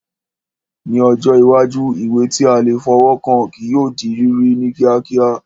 Ní ọjọ́ iwájú, ìwé tí a lè fọwọ́ kàn kí yóò di rírí ní kíákíá